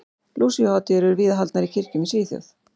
Lúsíuhátíðir eru víða haldnar í kirkjum í Svíþjóð.